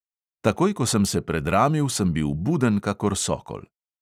Takoj, ko sem se predramil, sem bil buden kakor sokol.